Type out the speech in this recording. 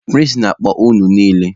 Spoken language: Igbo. Prịnsịpa na-akpọ unu niile!